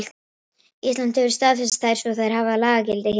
Ísland hefur staðfest þær svo þær hafa lagagildi hér á landi.